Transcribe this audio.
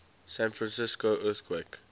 san francisco earthquake